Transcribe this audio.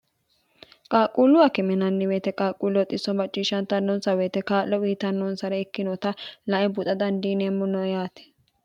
qaaqquulluwa kiminanni weyete qaaqquulluhoxisso macciishshantannonsa woyite kaa'lo wiitannonsare ikkinota lae buxa dandiineemmo no yaati